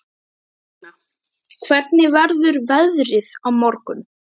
Högna, hvernig verður veðrið á morgun?